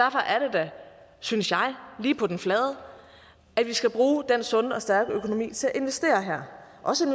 da synes jeg lige på den flade at vi skal bruge den sunde og stærke økonomi til at investere her og også